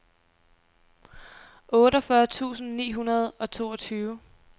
otteogfyrre tusind ni hundrede og toogtyve